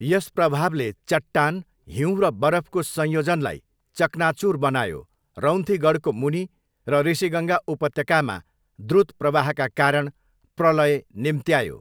यस प्रभावले चट्टान, हिउँ र बरफको संयोजनलाई चकनाचुर बनायो रौन्थीगढको मुनि र ऋषिगङ्गा उपत्यकामा द्रुत प्रवाहका कारण प्रलय निम्त्यायो।